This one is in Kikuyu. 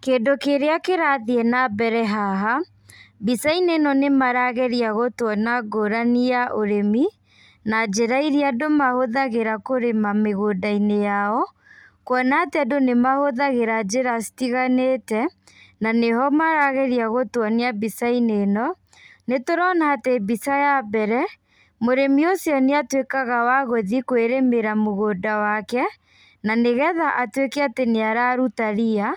Kĩndũ kĩrĩa kĩrathiĩ nambere haha, mbicainĩ ĩno nĩmarageria gũtuonia ngũrani ya ũrĩmi, na njĩra iria andũ mahũthagĩra kũrĩma mĩgũndainĩ yao, kuona atĩ andũ nĩmahũthagĩra njĩra citiganĩte, na nĩho marageria gũtuonia mbicainĩ ĩno, nĩtũrona atĩ mbica ya mbere, mũrĩmi ũcio nĩatuĩkaga wa gũthiĩ kwĩrĩmĩra mũgũnda wake, na nĩgetha atuĩke atĩ nĩararuta ria,